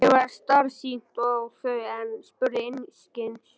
Mér varð starsýnt á þau en spurði einskis.